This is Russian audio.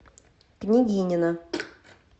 княгинино